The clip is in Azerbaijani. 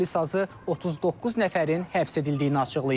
Polis azı 39 nəfərin həbs edildiyini açıqlayıb.